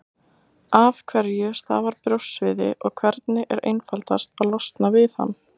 Af hverju stafar brjóstsviði, og hvernig er einfaldast að losna við hann?